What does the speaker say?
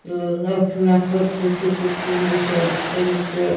.ال اکھ نفرسُہ چُھ کوٚت کُن وُچھان تہٕ تٔمِس چھ